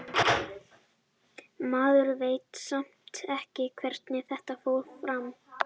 Maður veit samt ekki hvernig þetta fór fram.